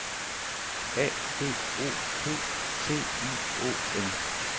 A D O P T I O N